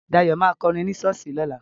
Dayọ̀ ma kọrin ní ṣọ́ọ̀ṣì lọ́la